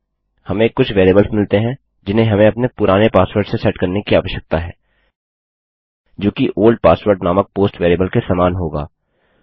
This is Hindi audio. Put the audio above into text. हमें कुछ वेरिएबल्स मिलती हैं जिन्हें हमें अपने पुराने पासवर्ड से सेट करने की आवश्यकता है जो कि ओल्ड पासवर्ड नामक पोस्ट वेरिएबल के समान होगा